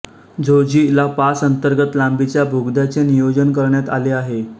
Zoji La pass अंतर्गत लांबीच्या बोगद्याचे नियोजन करण्यात आले आहे